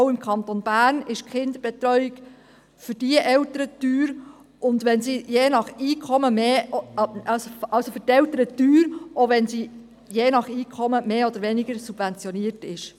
Auch im Kanton Bern ist die Kinderbetreuung für jene Eltern teuer, selbst wenn sie je nach Einkommen mehr oder weniger subventioniert ist.